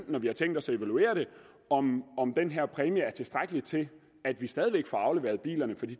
når vi har tænkt os at evaluere det om den her præmie er tilstrækkelig til at vi stadig væk får afleveret bilerne for